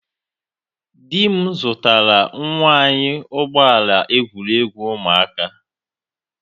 Di m zụtara nwa anyị ụgbọ ala egwuregwu ụmụaka.